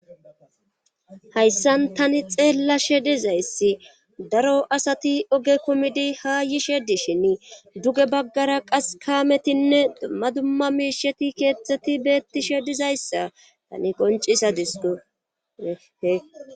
Hayssan tani xeella she dizayssi daro asati oge kumidi ha yishe dishin duge baggara qas kaametinne maduma miisheti keettzeti beettishe dizayssa tani qoncisa disdohe